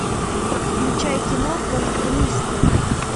включай кино конформист